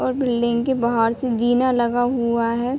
और बिल्डिंग के बाहर से जीना लगा हुआ है।